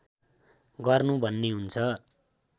गर्नु भन्ने हुन्छ